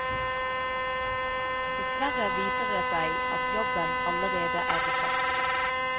Dessverre viser det seg at jobben allerede er besatt.